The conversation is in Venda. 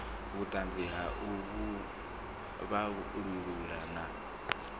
vhuṱanzi ha u vhalulula na